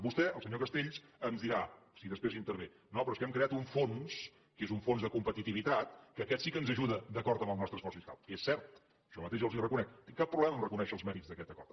vostè o el senyor castells ens dirà si després intervé no però és que hem creat un fons que és un fons de competitivitat que aquest sí que ens ajuda d’acord amb el nostre esforç fiscal que és cert jo mateix els ho reconec no tinc cap problema a reconèixer els mèrits d’aquest acord